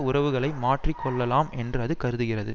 உறவுகளை மாற்றி கொள்ளலாம் என்று அது கருதுகிறது